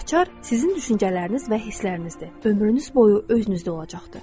Açar sizin düşüncələriniz və hisslərinizdir, ömrünüz boyu özünüzdə olacaqdır.